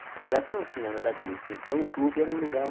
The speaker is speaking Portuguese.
Naquela época não tinha nada disso, então o clube era um lugar